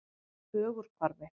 Ögurhvarfi